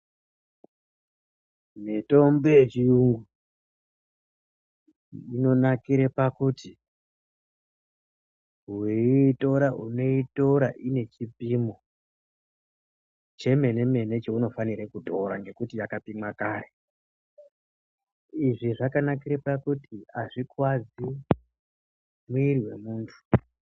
Mitombo yechiyungu inonakirw pakuti weiitora unoitora ine chipimo chemene mene chaunofanire kutora ngekuti yakapimwa kare uyezve zvakanakire pakuti azvikuwadzi miri wemuntu.